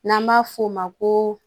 N'an b'a f'o ma ko